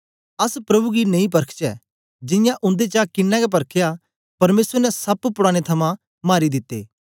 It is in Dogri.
अस प्रभु गी नेई परखचै जियां उन्देचा किन्नें गै परख्या परमेसर ने सप्प पुडानें थमां मारी दित्ते